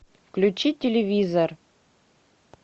включи телевизор